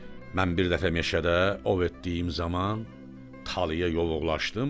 Mən bir dəfə meşədə ov etdiyim zaman talaya yovuqlaşdım.